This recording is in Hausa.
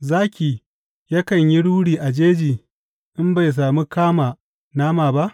Zaki yakan yi ruri a jeji in bai sami kama nama ba?